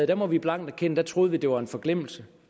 det må vi blank erkende troede vi at det var en forglemmelse